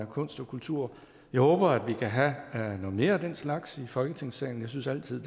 kunst og kultur jeg håber at vi kan have noget mere af den slags i folketingssalen jeg synes altid